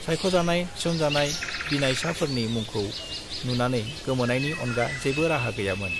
सायख'जानाय, थिसनजानाय बिनायसाफोरनि मुंखौ नुनानै गोमोनायनि अनगा जेबो राहा गैयामोन।